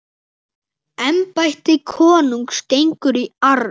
Embætti konungs gengur í arf.